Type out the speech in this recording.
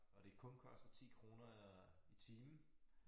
Og det kun koster øh 10 kroner i timen